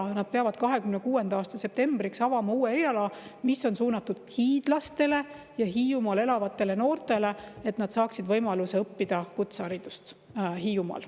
Nad peavad 2026. aasta septembriks avama uue eriala, mis on suunatud hiidlastele ja Hiiumaal elavatele noortele, et nad saaksid võimaluse kutseharidust Hiiumaal.